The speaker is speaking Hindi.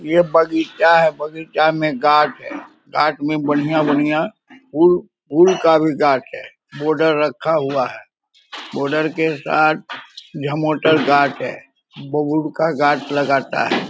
ये बगीचा है बगीचा में गाछ है गाछ में बढ़िया-बढ़िया उल उल का भी गाछ है बॉडर रखा हुआ है बॉर्डर के साथ यह मोटरगार्ड है बबुर का गाछ लगाता है ।